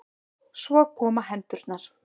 Svo koma hendurnar.